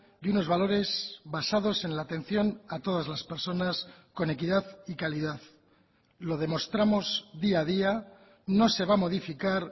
y unos valores basados en la atención a todas las personas con equidad y calidad lo demostramos día a día no se va a modificar